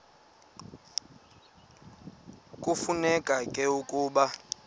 kufuneka ke ukuba